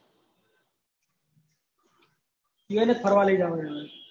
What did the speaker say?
બે ને ફરવા લઇ જવાનું એ